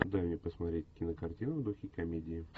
дай мне посмотреть кинокартину в духе комедии